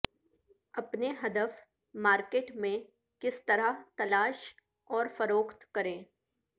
اپنے ہدف مارکیٹ میں کس طرح تلاش اور فروخت کریں